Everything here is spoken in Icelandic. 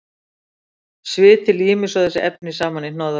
Sviti límir svo þessi efni saman í hnoðra.